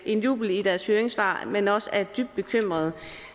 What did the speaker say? en jubel i deres høringssvar men er også dybt bekymrede